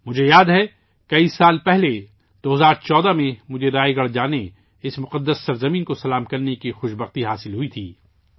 مجھے یاد ہے کہ کئی سال پہلے 2014 میں مجھے رائے گڑھ جانے، اس مقدس سرزمین کو سلام کرنے کی سعادت ملی تھی